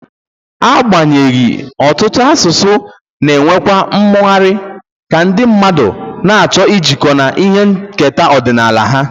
Agbanyeghị, ọtụtụ asụsụ na-enwekwa mmụgharị, ka ndị mmadụ na-achọ ijikọ na ihe nketa ọdịnala ha